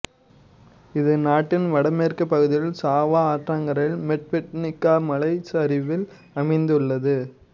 இது நாட்டின் வடமேற்குப் பகுதியில் சாவா ஆற்றங்கரையில் மெட்வெட்னிக்கா மலைச் சரிவில் அமைந்துள்ளது